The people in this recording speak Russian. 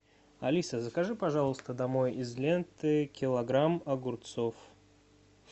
алиса закажи пожалуйста домой из ленты килограмм огурцов